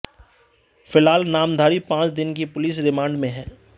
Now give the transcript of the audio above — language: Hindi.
फ़िलहाल नामधारी पांच दिन की पुलिस रिमांड में है